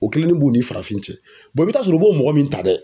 O kelennin b'u ni farafin cɛ i be taa sɔrɔ u b'o mɔgɔ min ta dɛ